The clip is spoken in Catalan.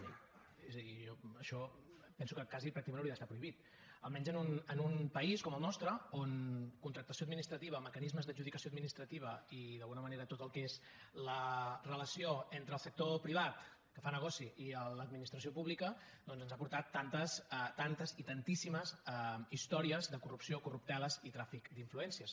és a dir jo això penso que quasi pràcticament hauria d’estar prohibit almenys en un país com el nostre on contractació administrativa mecanismes d’adjudicació administrativa i d’alguna manera tot el que és la relació entre el sector privat que fa negoci i l’administració pública doncs ens ha portat tantes tantes i tantíssimes històries de corrupció corrupteles i tràfic d’influències